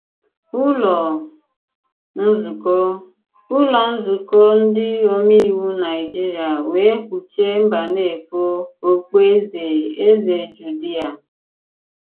Ùlọ nzùkọ Ùlọ nzùkọ ndị òmèiwù Nàịjìrìà wèè kpùchìè Mbànéfò òkpùèzè Èzè Jùdìà.